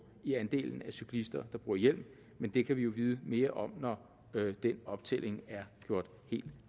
i andelen af cyklister der bruger hjelm men det kan vi vide mere om når den optælling er gjort helt